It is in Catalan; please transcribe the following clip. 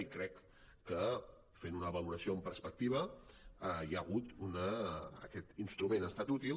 i crec que fent ne una valoració en perspectiva aquest instrument ha estat útil